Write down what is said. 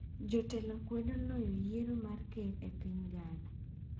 Jatelo kwedo oloyo yiero mar ker e piny Ghana